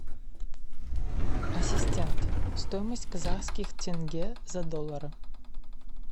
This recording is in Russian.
ассистент стоимость казахских тенге за доллары